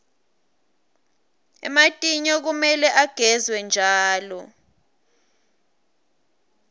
ematinyo kumele agezwe njalo